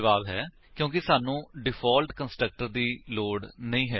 ਜਵਾਬ ਹੈ ਕਿਉਂਕਿ ਸਾਨੂੰ ਡਿਫਾਲਟ ਕੰਸਟਰਕਟਰ ਦੀ ਲੋੜ ਨਹੀਂ ਹੈ